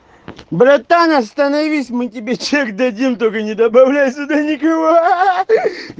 братан остановись мы тебе чек дадим только не добавляй сюда никого ха-ха